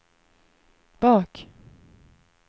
bak